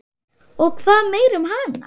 Og hvað meira um hana?